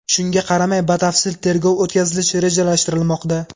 Shunga qaramay batafsil tergov o‘tkazilishi rejalashtirilmoqda.